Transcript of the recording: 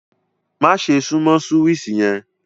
Màṣẹ̀ sùnmọ súwíṣì yen!